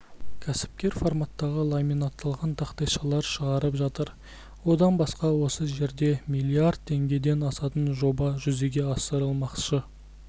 кәсіпкер форматтағы ламинатталған тақтайшалар шығарып жатыр одан басқа осы жерде миллиард теңгеден асатын жоба жүзеге асырылмақшы